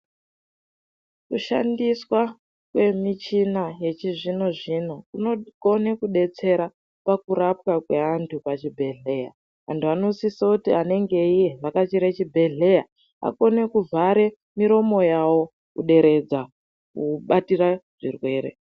Kushandiswa kwemuchina kwechina yechizvinozvino kunokone kudetsera pakurapwa kwevanhu pachibhehlera antu anosise kutivanenge veivhakachira chibhehleya vakone kuvhare muromo yavo kuderedzwa kubatira zvirwere .